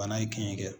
Bana ye kin kɛ